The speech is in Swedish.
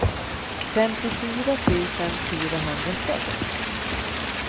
femtiofyra tusen fyrahundrasex